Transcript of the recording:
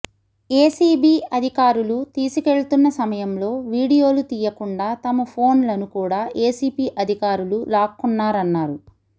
ACB అధికారులు తీసుకెళ్తున్న సమయంలో వీడియోలు తీయకుండా తమ ఫోన్లను కూడ ఏసీబీ అధికారులు లాక్కొన్నారన్నారు